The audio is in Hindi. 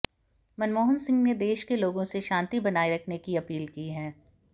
मनमोहन सिंह ने देश के लोगों से शांति बनाए रखने की अपील की है